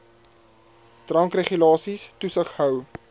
drankregulasies toesig hou